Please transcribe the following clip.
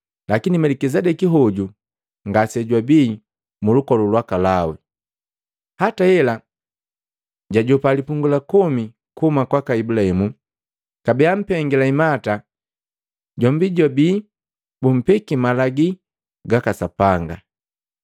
Lakini Melikisedeki hoju ngasejwabii mu lukolu lwaka Lawi, hata hela jajopa lipungu la komi kuhuma kwaka Ibulahimu, kabee ampengila imata jombi jojwabii bumpeki malagi ga Sapanga.